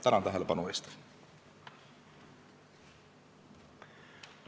Tänan tähelepanu eest!